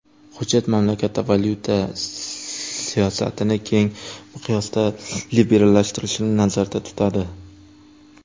Hujjat mamlakatda valyuta siyosatini keng miqyosda liberallashtirilishini nazarda tutadi.